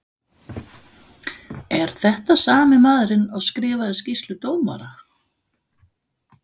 Er þetta sami maðurinn og skrifaði skýrslu dómara?